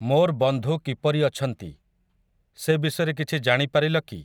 ମୋର୍ ବନ୍ଧୁ କିପରି ଅଛନ୍ତି, ସେ ବିଷୟରେ କିଛି ଜାଣିପାରିଲ କି ।